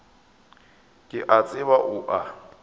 ke a tseba o a